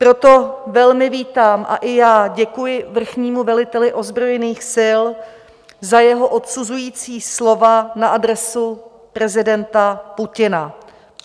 Proto velmi vítám a i já děkuji vrchnímu veliteli ozbrojených sil za jeho odsuzující slova na adresu prezidenta Putina.